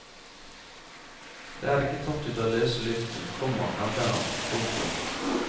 Det er ikke tatt ut av løse luften, komma hevder han. punktum